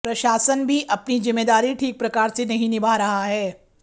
प्रशासन भी अपनी जिम्मेदारी ठीक प्रकार से नहीं निभा रहा है